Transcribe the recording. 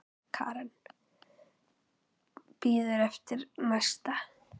Karen: Bíður eftir næsta?